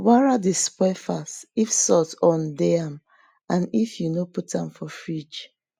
wara dey spoil fast if salt on dey am and if you no put am for fridge